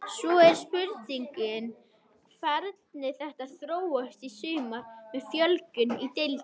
Svo er spurning hvernig þetta þróast í sumar með fjölgun í deildinni.